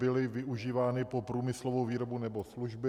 byly využívány pro průmyslovou výrobu nebo služby.